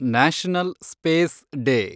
national space day